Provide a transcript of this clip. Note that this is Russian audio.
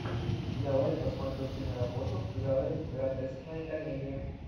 давай я посмотрю киноработу в жанре гротескная комедия